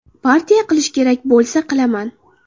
Partiya qilish kerak bo‘lsa, qilaman.